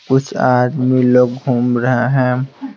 कुछ आदमी लोग घूम रहे हैं।